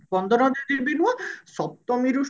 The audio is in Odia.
ପନ୍ଦର ଦିନ ବି ନୁହଁ ସପ୍ତମୀ ରୁ